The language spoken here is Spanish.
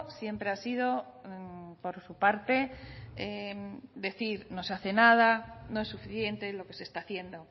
siempre ha sido por su parte decir no se hace nada no es suficiente lo que se está haciendo